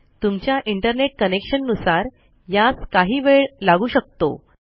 तुमच्या internet connection नुसार यास काही वेळ लागू शकतो